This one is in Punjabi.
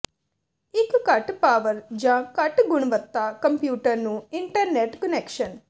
ਇੱਕ ਘੱਟ ਪਾਵਰ ਜ ਘੱਟ ਗੁਣਵੱਤਾ ਕੰਪਿਊਟਰ ਨੂੰ ਇੰਟਰਨੈੱਟ ਕੁਨੈਕਸ਼ਨ